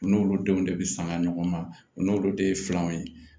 U n'olu denw de bɛ sanga ɲɔgɔn na u n'olu de ye filanan ye